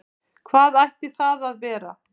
Hvað ætti það að vera?